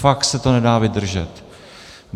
Fakt se to nedá vydržet.